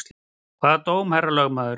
Hvaða dóm, herra lögmaður?